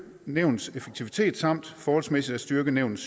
nævnets effektivitet samt forholdsmæssigt at styrke nævnets